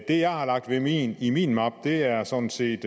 det jeg har lagt i i min mappe er sådan set